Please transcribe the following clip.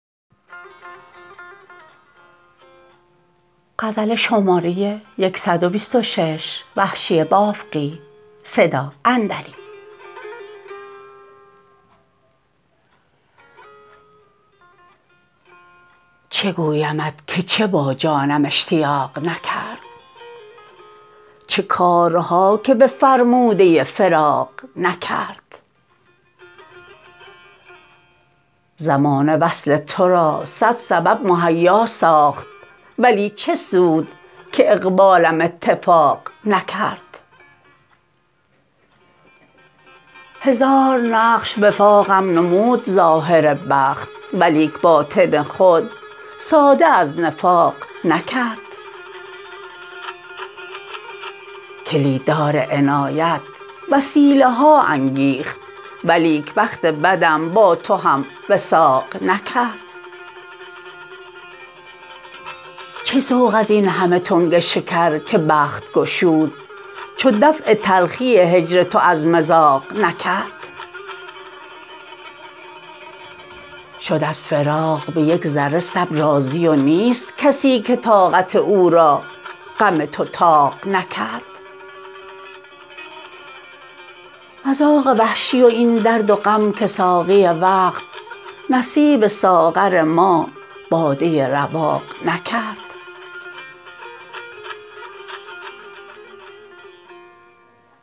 چه گویمت که چه با جانم اشتیاق نکرد چه کارها که به فرموده فراق نکرد زمانه وصل ترا سد سبب مهیا ساخت ولی چه سود که اقبالم اتفاق نکرد هزار نقش وفاقم نمود ظاهر بخت ولیک باطن خود ساده از نفاق نکرد کلید دار عنایت وسیله ها انگیخت ولیک بخت بدم با تو هم وثاق نکرد چه ذوق از اینهمه تنگ شکر که بخت گشود چو دفع تلخی هجر تو از مذاق نکرد شد از فراق به یک ذره صبر راضی و نیست کسی که طاقت او را غم تو طاق نکرد مذاق وحشی و این درد و غم که ساقی وقت نصیب ساغر ما باده رواق نکرد